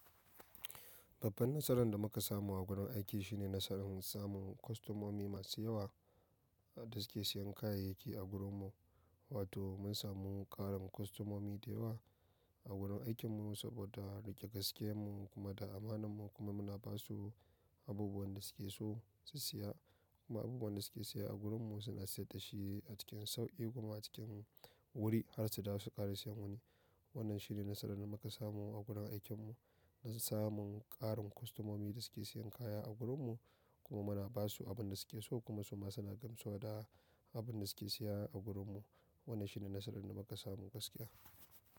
Babban nasaran da muka samu a gurin aiki shine nasarar samun kostomomi masu yawa da suke siyan kayayyaki a gurinmu, wato mun samu ƙarin kostomomi da yawa a gurin aikinmu saboda riƙe gaskiyamun kuma da amananmu kuma muna basu abubuwan da suke so su siya, kuma abubuwan da suke siya a gurinmu suna siyar dashi a cikin sauƙi kuma a cikin wuri har su dawo su ƙara siyan wani. Wannan shine nasarar da muka samu a gurin aikinmu, samun ƙarin kostomomi da suke siyan kaya a gurinmu kuma muna basu abin da suke so kuma su ma suna gamsu da abin da suke siya a gurinmu. Wannan shine nasarar da muka samu gaskiya.